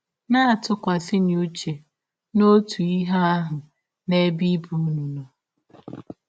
Na - atụkwasịnụ ụche n’ọtụ ihe ahụ n’ebe ibe ụnụ nọ. ”